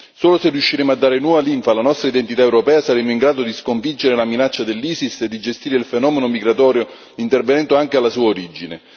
Solo se riusciremo a dare nuova linfa alla nostra identità europea, saremo in grado di sconfiggere la minaccia dell'ISIS e di gestire il fenomeno migratorio, intervenendo anche alla sua origine.